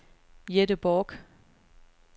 Jette Bork